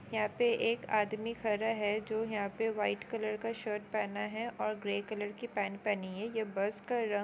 यहां पे एक आदमी खड़ा है जो यहां पे व्हाइट कलर का शर्ट पहना है और ग्रे कलर की पैंट पहनी है। यह बस का रंग --